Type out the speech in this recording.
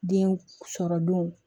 Den sɔrɔ don